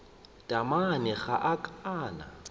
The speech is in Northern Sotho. taamane ga a ka a